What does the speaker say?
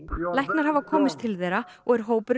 læknar hafa komist til þeirra og er hópurinn